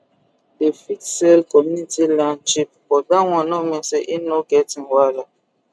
dey fit sell community land cheap but dat one no mean say e no get im wahala